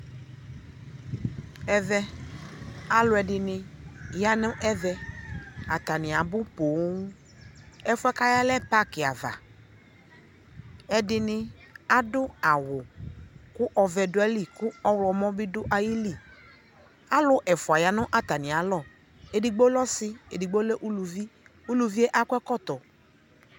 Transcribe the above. ɛvɛ alʋɛdini yanʋb ɛvɛ, atani abʋ pɔɔm, ɛƒʋɛ kayaɛ lɛ parki di aɣa, ɛdini adʋ awu kʋ ɔvɛ dʋali kʋ ɔwlɔmɔ bi dʋ ayili, alʋ ɛƒʋa yanʋ atami alɔ ,ɛdigbɔ lɛɔsii, ɛdigbɔ lɛ ʋlʋvii, ʋlʋviɛ akɔ ɛkɔtɔ